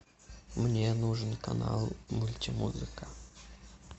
мне нужен канал мультимузыка